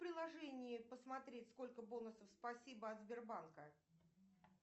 в приложении посмотреть сколько бонусов спасибо от сбербанка